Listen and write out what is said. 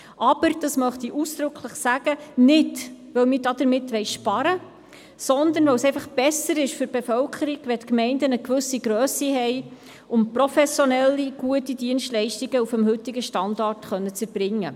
Aber, dies möchte ich ausdrücklich erwähnen, nicht, weil wir damit sparen wollen, sondern weil es für die Bevölkerung besser ist, wenn eine Gemeinde eine gewisse Grösse hat, um professionellere und gute Dienstleistungen auf dem heutigen Standard zu erbringen.